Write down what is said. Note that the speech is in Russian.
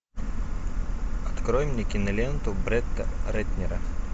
открой мне киноленту бретта рэтнера